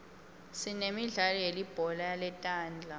sinemidlalo yelibhola letandla